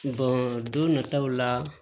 don nataw la